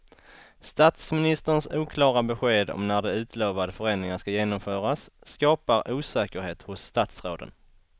Statsministerns oklara besked om när de utlovade förändringarna ska genomföras skapar osäkerhet hos statsråden.